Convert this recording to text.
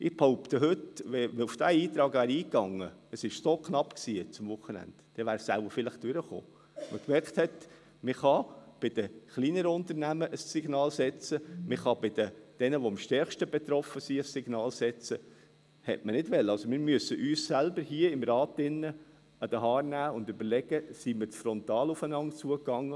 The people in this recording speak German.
Ich behaupte heute, wenn man auf diesen Antrag eingegangen wäre – es war so knapp, jetzt am Wochenende –, dann wäre die Vorlage wohl vielleicht durchgekommen, weil man gemerkt hat, dass man an die kleineren Unternehmen ein Signal aussenden kann.